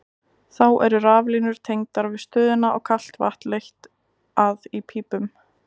Þá eru raflínur tengdar við stöðina og kalt vatn leitt að í pípum.